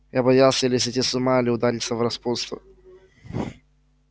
я боялся или сойти с ума или удариться в распутство